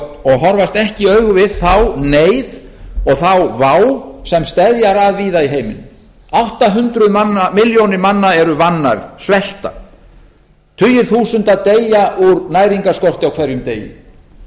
og horfast ekki í augu við þá neyð og þá vá sem steðjar að víða í heiminum allt að hundruð milljónir manna eru vannærð svelta tugir þúsunda deyja úr næringarskorti á hverjum degi ein og